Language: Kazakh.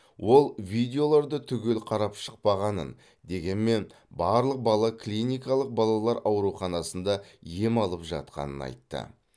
ол видеоларды түгел қарап шықпағанын дегенмен барлық бала клиникалық балалар ауруханасында ем алып жатқанын айтты